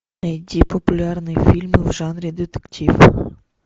найди популярные фильмы в жанре детектив